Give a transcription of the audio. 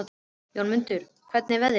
Jónmundur, hvernig er veðrið í dag?